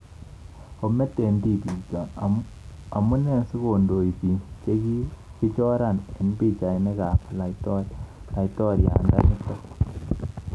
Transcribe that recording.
#Ometetipikchok:Amunee sikondei piik chekakichoran eng pichainik ap.laitoriatnda nitok